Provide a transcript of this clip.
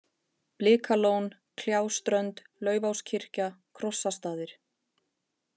Blikalón, Kljáströnd, Laufáskirkja, Krossastaðir